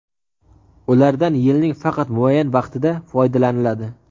ulardan yilning faqat muayyan vaqtida foydalaniladi.